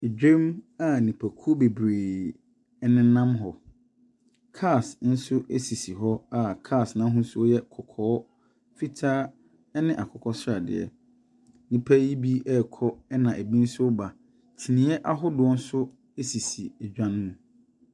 Dwam a nipakuo bebree nenam hɔ. Cars nso sisi hɔ a cars no ahosuo yɛ kɔkɔɔ, fitaa ne akokɔsradeɛ. Nnipa yi bi rekɔ, ɛna ɛbi nso reba. Kyiniiɛ ahodoɔ nso sisi edwa no mu.